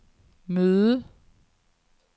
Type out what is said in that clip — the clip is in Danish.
møde